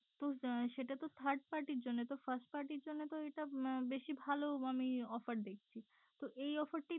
তো সেটা তো third party জন্য তো first party র জন্য তো এটা বেশি ভালো আমি offer দেখছি তো এই offer টি